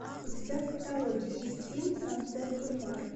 у тебя в каталоге есть фильм сансет бульвар